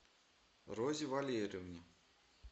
розе валерьевне